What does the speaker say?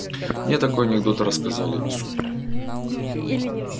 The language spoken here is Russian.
мне такой анекдот рассказали супер